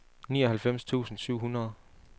nioghalvfems tusind syv hundrede